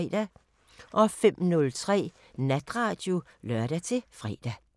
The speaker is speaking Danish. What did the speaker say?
05:03: Natradio (lør-fre)